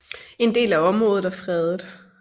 En del af området er fredet